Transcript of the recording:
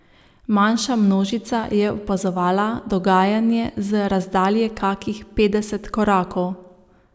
Manjša množica je opazovala dogajanje z razdalje kakih petdeset korakov.